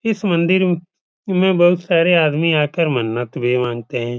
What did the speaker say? इस मंदिर में बोहोत सारे आदमी आकर मन्नत भी मानते हैं।